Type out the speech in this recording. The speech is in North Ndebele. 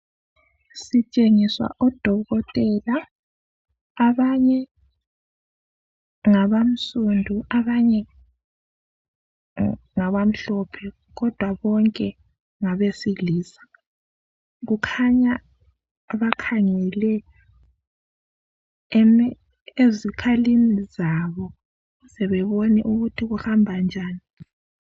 Sitshengiswa odokotela. Abanye ngabansundu, abanye ngabamhlophe, kodwa bonke ngabesilisa. Kukhanya bakhangele ezikhalini zabo ukuze bebone ukuthi kuhamba njani.